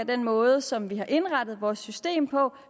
den måde som vi har indrettet vores system på